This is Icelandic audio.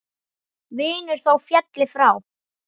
Vinur þó félli frá.